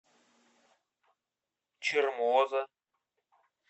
чермоза